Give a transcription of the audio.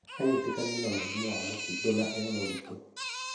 Anyitĩkanire na mũrimũ wa mũkingo na e mũritũ.